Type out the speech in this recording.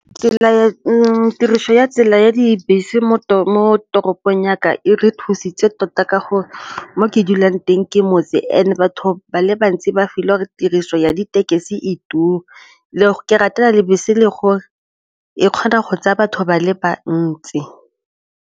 Tiriso ya tsela ya dibese mo toropong ya ka e re thusitse tota ka gore mo ke dulang teng ke motse and batho ba le bantsi ba filwe gore tiriso ya ditekesi e turu le ke ratela le bese le gore e kgona go tsaya batho ba le bantsi.